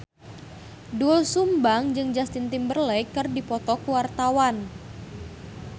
Doel Sumbang jeung Justin Timberlake keur dipoto ku wartawan